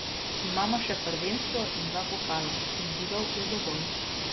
Imamo še prvenstvo in dva pokala, izzivov je dovolj.